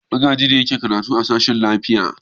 Magaji ne yake karatu a sashen lafiya.